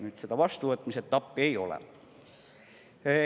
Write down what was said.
Nüüd seda vastuvõtmise etappi ei ole.